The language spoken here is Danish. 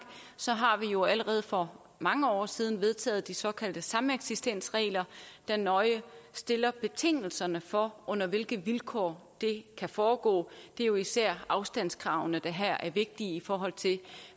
har vi jo allerede for mange år siden vedtaget de såkaldte sameksistensregler der nøje stiller betingelserne for under hvilke vilkår det kan foregå det er jo især afstandskravene der her er vigtige i forhold til